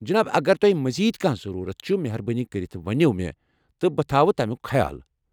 جناب، اگر تۄہہِ مزید کانٛہہ ضروٗرت چھِ، مہربٲنۍ کرِتھ ؤنِو مےٚ تہٕ بہٕ تھووٕ تمیُک خیال۔